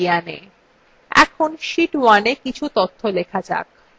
এখন sheet 1এ কিছু তথ্য লেখা যাক